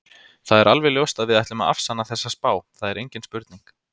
Það er alveg ljóst að við ætlum að afsanna þessa spá, það er engin spurning.